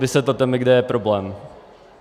Vysvětlete mi, kde je problém.